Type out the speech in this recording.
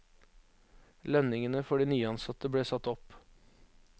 Lønningene for de nyansatte ble satt opp.